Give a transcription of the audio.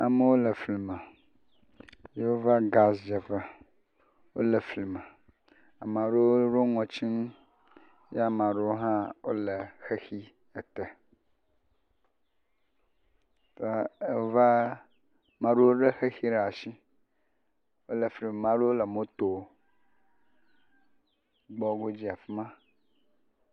Amewo le fli me yewoava gasi dzeƒe, wole fli me, ame aɖewo ɖo nu ɖe ŋɔti nu ye ame aɖewo hã le wole xexi ete, eee.. eva, maɖewo lé xexi ɖe asi, ame aɖewo le moto godzi le afi ma.